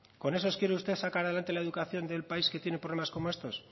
con esos quiere usted sacar adelante la educación del país que tiene problemas como estos